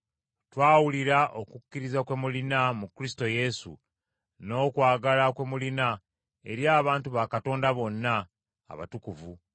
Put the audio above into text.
Twawulira okukkiriza kwe mulina mu Kristo Yesu, n’okwagala kwe mulina eri abantu ba Katonda bonna, abatukuvu,